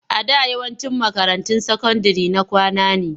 A da yawancin makarantun sakandire na kwana ne.